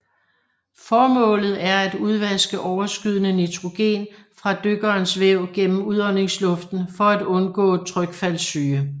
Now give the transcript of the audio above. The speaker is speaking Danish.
Formålet er at udvaske overskydende nitrogen fra dykkerens væv gennem udåndingsluften for at undgå trykfaldssyge